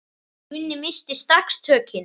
Gunni missti strax tökin.